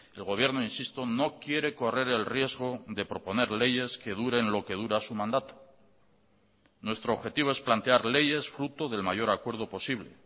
el gobierno insisto no quiere correr el riesgo de proponer leyes que duren lo que dura su mandato nuestro objetivo es plantear leyes fruto del mayor acuerdo posible